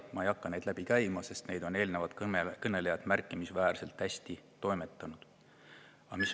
Ma ei hakka neid läbi käima, sest seda on eelnevad kõnelejad märkimisväärselt hästi.